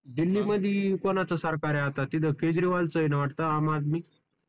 दिल्ली मध्ये कोणाचा सरकार आहे आता तिथं केजरीवाल च आहे ना वाटतंय आम आदमी?